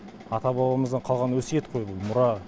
ата бабамыздан қалған өсиет қой бұл мұра